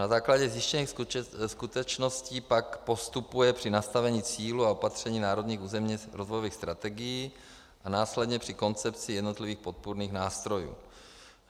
Na základě zjištěných skutečností pak postupuje při nastavení cílů a opatření národních územně rozvojových strategií a následně při koncepci jednotlivých podpůrných nástrojů.